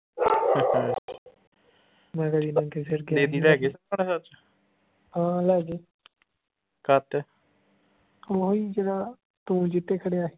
ਮੈਂ ਹਾਂ ਲੈਗੇ ਓਹੀ ਜਿਹੜਾ ਤੂੰ ਜਿਹਤੇ ਖੜਿਆ